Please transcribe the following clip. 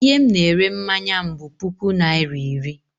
I he m na-ere mmanya m bụ puku naira iri.